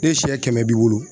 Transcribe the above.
Ni sɛ kɛmɛ b'i bolo